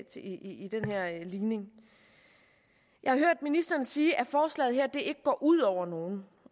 i den her ligning jeg hørte ministeren sige at forslaget her ikke går ud over nogen